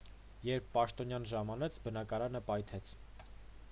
երբ պաշտոնյան ժամանեց բնակարանը պայթեց